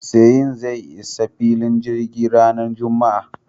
Seyi zai isa filin jirgin ranar Juma'a.